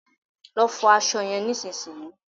Lọ fọ aṣọ yẹn nísinsìnyí